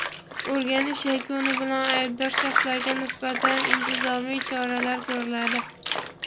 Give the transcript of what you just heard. o‘rganish yakuni bilan aybdor shaxslarga nisbatan intizomiy choralar ko‘riladi.